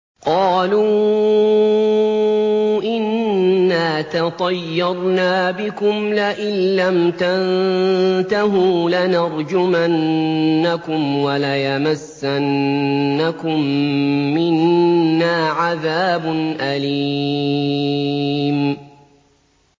قَالُوا إِنَّا تَطَيَّرْنَا بِكُمْ ۖ لَئِن لَّمْ تَنتَهُوا لَنَرْجُمَنَّكُمْ وَلَيَمَسَّنَّكُم مِّنَّا عَذَابٌ أَلِيمٌ